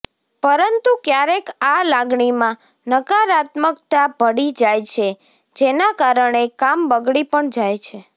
પરંતુ ક્યારેક આ લાગણીમાં નકારાત્મકતા ભળી જાય છે જેના કારણે કામ બગડી પણ જાય છે